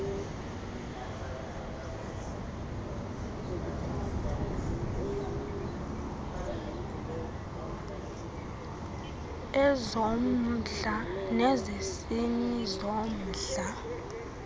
ezommndla nezesini zommndla